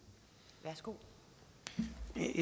det